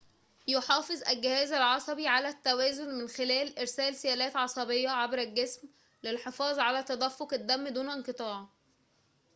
يحافظ الجهاز العصبي على التوازن من خلال إرسال سيالات عصبية عبر الجسم للحفاظ على تدفق الدم دون انقطاع